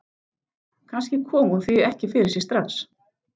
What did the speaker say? Kannski kom hún því ekki fyrir sig strax.